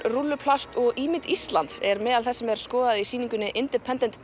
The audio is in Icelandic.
rúlluplast og ímynd Íslands er meðal þess sem er skoðað í sýningunni independent